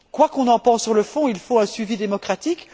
Quoi qu'on en pense sur le fond, il faut un suivi démocratique.